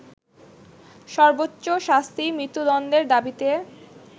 সর্বোচ্চ শাস্তি মৃত্যুদণ্ডের দাবিতে